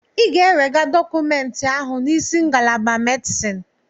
Ị ga-ewega dọkụmentị ahụ n'isi ngalaba Medisin!